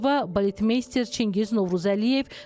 Baletmeyster Çingiz Novruzəliyev.